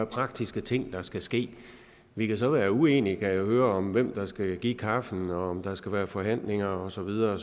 praktiske ting der skal ske vi kan så være uenige kan jeg høre om hvem der skal give kaffen og om der skal være forhandlinger og så videre